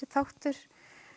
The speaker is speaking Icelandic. þáttur